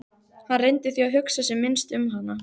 Hann reyndi því að hugsa sem minnst um hana.